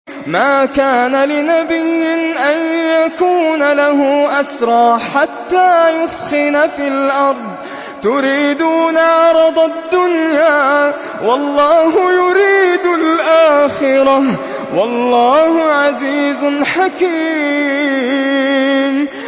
مَا كَانَ لِنَبِيٍّ أَن يَكُونَ لَهُ أَسْرَىٰ حَتَّىٰ يُثْخِنَ فِي الْأَرْضِ ۚ تُرِيدُونَ عَرَضَ الدُّنْيَا وَاللَّهُ يُرِيدُ الْآخِرَةَ ۗ وَاللَّهُ عَزِيزٌ حَكِيمٌ